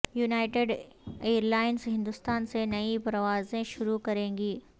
united Airlines Hindustan سے نئی پروازیں شروع کرے گی